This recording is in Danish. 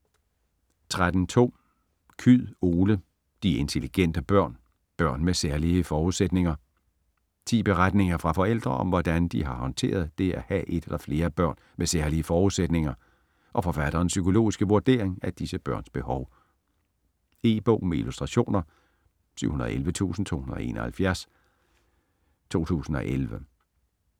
13.2 Kyed, Ole: De intelligente børn: børn med særlige forudsætninger Ti beretninger fra forældre om, hvordan de har håndteret det at have et eller flere børn med særlige forudsætninger, og forfatterens psykologiske vurdering af disse børns behov. E-bog med illustrationer 711271 2011.